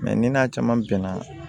ni n'a caman bɛnna